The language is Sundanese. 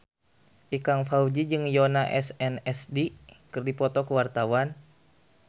Ikang Fawzi jeung Yoona SNSD keur dipoto ku wartawan